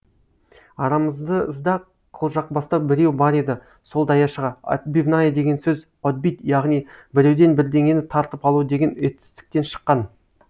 арамызды қылжақбастау біреу бар еді сол даяшыға отбивная деген сөз отбить яғни біреуден бірдеңені тартып алу деген етістіктен шыққан